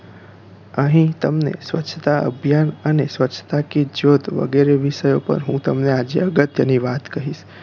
અહીં તમને સ્વચ્છતા અભિયાન અને સ્વચ્છતા કી જ્યોત વગેરે વિષયો પર હું તમને આજે અગત્ય ની વાત કરીશ